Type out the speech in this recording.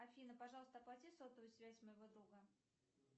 афина пожалуйста оплати сотовую связь моего друга